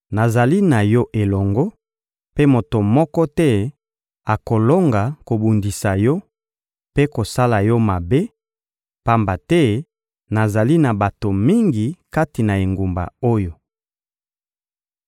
Nazali na yo elongo, mpe moto moko te akolonga kobundisa yo mpe kosala yo mabe, pamba te nazali na bato mingi kati na engumba oyo.